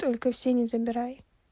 только все не забирай